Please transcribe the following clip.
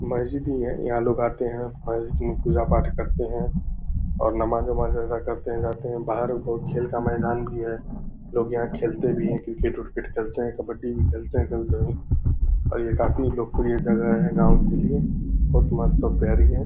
मस्ज़िद ही है यहाँ लोग आते हैं मस्ज़िद में पूजा-पाठ करते हैं और नमाज-उमाज अदा करते हैं जाते हैं बाहर खेल का मैदान भी है लोग यहाँ पे खेलते भी है क्रिकेट उरकेट खेलते हैं कबड्डी भी खेलते हैं कभी-कभी और ये काफी लोकप्रिय जगह है गांव के लिए बहुत मस्त और प्यारी है।